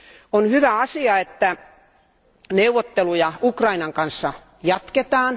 On hyvä asia, että neuvotteluja Ukrainan kanssa jatketaan.